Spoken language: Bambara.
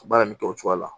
Baara nin kɛ o cogoya la